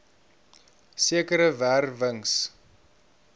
sekere wer wings